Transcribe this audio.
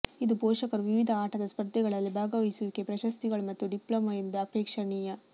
ಇದು ಪೋಷಕರು ವಿವಿಧ ಆಟದ ಸ್ಪರ್ಧೆಗಳಲ್ಲಿ ಭಾಗವಹಿಸುವಿಕೆ ಪ್ರಶಸ್ತಿಗಳು ಮತ್ತು ಡಿಪ್ಲೊಮ ಎಂದು ಅಪೇಕ್ಷಣೀಯ